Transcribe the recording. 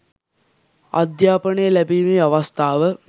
අධ්‍යාපනය ලැබීමේ අවස්ථාව